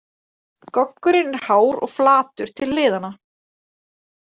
Goggurinn er hár og flatur til hliðanna.